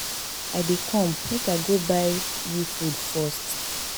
I dey come make I go buy you food first